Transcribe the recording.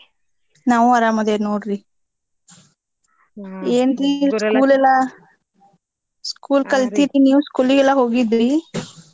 ನಾವೂ ಆರಾಮ್ ಅದಿವ್ ನೋಡ್ರಿ school ಎಲ್ಲ school ಕಲ್ತೀರಿ ನೀವ್ school ಗೆಲ್ಲ ಹೋಗಿದ್ರಿ?